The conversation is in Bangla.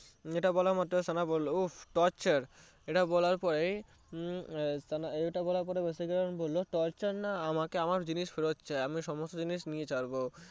এটা বলা মাত্রই সানা বললো উহ torture এটা বলার পরেই এটা বলার পরেই ভাসীকারান বললো torture না আমাকে আমার জিনিস ফেরত চাই আমি সমস্ত জিনিস নিয়ে যাবো